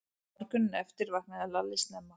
Morguninn eftir vaknaði Lalli snemma.